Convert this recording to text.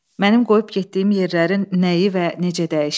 Mənim qoyub getdiyim yerlərin nəyi və necə dəyişib?